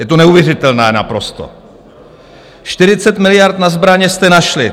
Je to neuvěřitelné, naprosto - 40 miliard na zbraně jste našli.